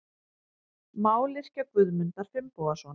Mályrkja Guðmundar Finnbogasonar.